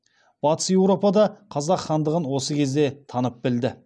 батыс еуропа да қазақ хандығын осы кезде танып білді